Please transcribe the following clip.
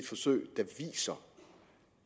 forsøg der viser